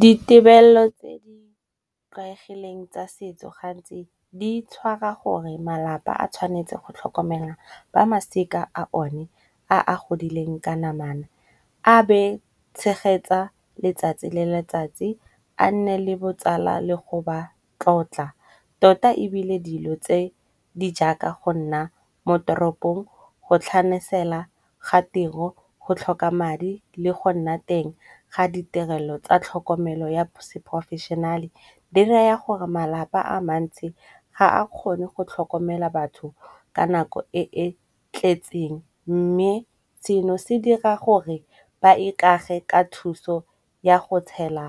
Ditebello tse di tlwaelegileng tsa setso gantsi di tshwara gore malapa a tshwanetse go tlhokomela ba masika a o ne a a godileng ka namana. A be tshegetsa letsatsi le letsatsi a nne le botsala le go ba tlotla, tota ebile dilo tse di jaaka go nna mo toropong go tlhanosela ga tiro, go tlhoka madi le go nna teng ga ditirelo tsa tlhokomelo ya seporofešenale. Di raya gore malapa a mantsi ga a kgone go tlhokomela batho ka nako e e tletseng, mme seno se dira gore ba ikage ka thuso ya go tshela